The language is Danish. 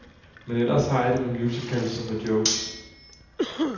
Men ellers har jeg det med musicals som med jokes.